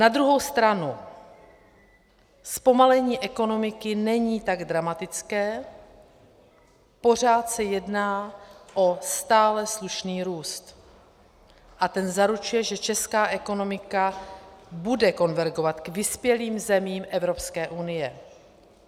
Na druhou stranu zpomalení ekonomiky není tak dramatické, pořád se jedná o stále slušný růst a ten zaručuje, že česká ekonomika bude konvergovat k vyspělým zemím Evropské unie.